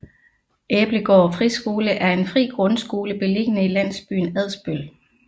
Æblegård Friskole er en fri grundskole beliggende i landsbyen Adsbøl